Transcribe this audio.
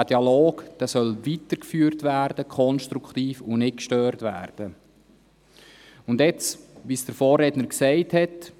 Er soll konstruktiv weitergeführt werden und nicht gestört werden, wie es der Vorredner gesagt hat.